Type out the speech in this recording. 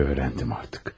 öyrəndim artıq.